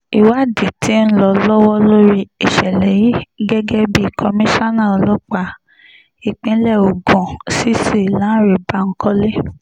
ìwádìí tí ń lọ lọ́wọ́ lórí ìṣẹ̀lẹ̀ yìí gẹ́gẹ́ bí komisanna ọlọ́pàá ìpínlẹ̀ ogun cc lánre bankole